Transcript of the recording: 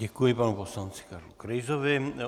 Děkuji panu poslanci Karlu Krejzovi.